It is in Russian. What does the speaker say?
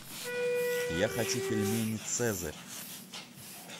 я хочу пельмени цезарь